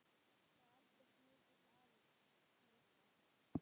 Var Albert mikill afi, Krissa?